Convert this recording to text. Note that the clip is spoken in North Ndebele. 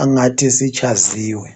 angathi sitshaziwe